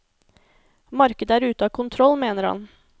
Markedet er ute av kontroll, mener han.